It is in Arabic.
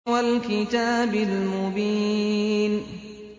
وَالْكِتَابِ الْمُبِينِ